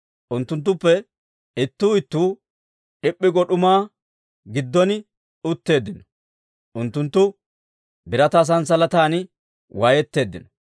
Unttunttuppe ittuu ittuu d'ip'p'i go d'umaa giddon utteeddino; Unttunttu birataa sanssalatan waayetteeddino.